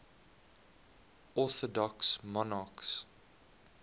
orthodox monarchs